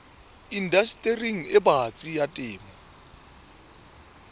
indastering e batsi ya temo